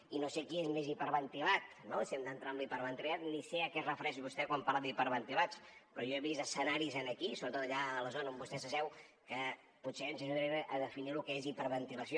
i no sé qui és més hiperventilat no si hem d’entrar en la hiperventilació ni sé a què es refereix vostè quan parla d’hiperventilats però jo he vist escenaris aquí sobretot allà a la zona on vostè s’asseu que potser ens ajudarien a definir lo que és hiperventilació